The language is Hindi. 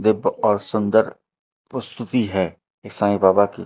दिव्य और सुंदर प्रस्तुति है साई बाबा की।